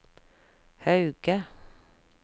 Hauge